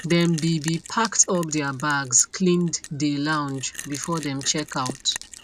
dem be be packed up their bags cleaned dey lounge before dem check out